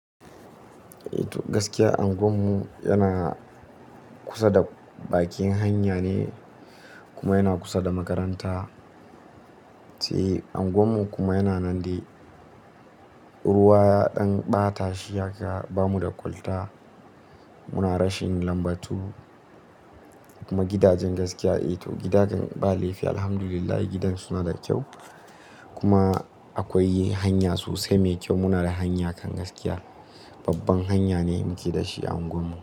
Eh to gaskiya unguwarmu yana kusa da bakin hanya ne kuma yana kusa da makaranta. Sai unguwarmu kuma yana nan dai. Ruwa ya dan bata shi haka bamu da kwalta. Muna rashin magudanar ruwa kuma gidajen gaskiya eh to gidajen ba laifi alhamdulillah gidajen suna da kyau. Kuma akwai hanya sosai mai kyau. Muna da hanya kam gaskiya, babbar hanya ce muke da shi a unguwar mu.